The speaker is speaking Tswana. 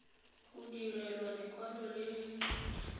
go direlwa lekwalo le le